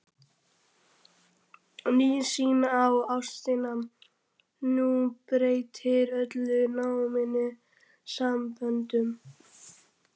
Ný sýn á ástina umbreytir öllum nánum samböndum.